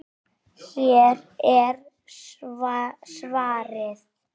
Hér er svarið.